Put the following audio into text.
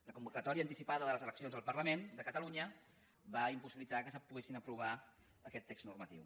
la convocatòria anticipada de les eleccions al parlament de catalunya va impossibilitar que es pogués aprovar aquest text normatiu